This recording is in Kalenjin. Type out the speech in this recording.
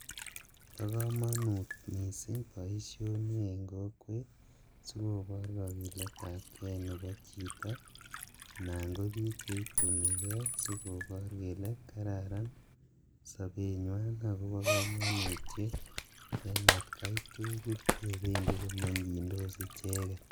Po kamanut misiing boisioni en kokwet si kobor kagiletapge nepo chito anan ko piik cheitunige sikopor kele kararan sopenywan ago po kamanutiet en atkai tugul yependi komeng'yindos icheget